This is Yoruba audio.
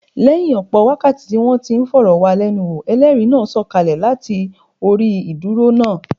Lẹ́yìn ọ̀pọ̀ wákàtí tí wọ́n ti ń fọ̀rọ̀ wá lẹ́nu wò, Ẹlẹ́rìí náà sọ̀ kalẹ̀ láti orí ìdúró náà.